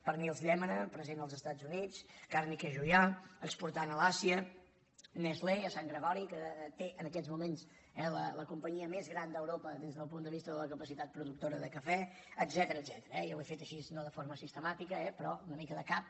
pernils llémena present als estats units càrniques juià exportant a l’àsia nestlé a sant gregori que té en aquests moments la companyia més gran d’euro·pa des del punt de vista de la capacitat productora de cafè etcètera eh i ho he fet així no de forma sis·temàtica però una mica de cap